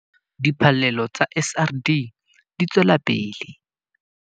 Diphallelo tsa SRD di tswela pele